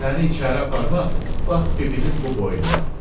Səni içəri aparmaq, bax bibinin bu boynuna.